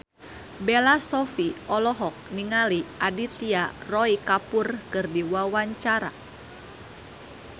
Bella Shofie olohok ningali Aditya Roy Kapoor keur diwawancara